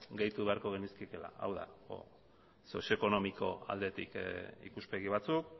gehitu beharko genizkiela hau da sozio ekonomiko aldetik ikuspegi batzuk